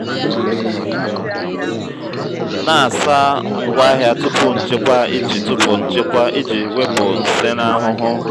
na-asa ngwaahịa tupu nchekwa iji tupu nchekwa iji wepụ nsen ahụhụ.